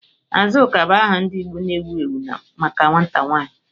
Azuka bụ aha ndị Igbo na-ewu ewu maka nwata nwanyị.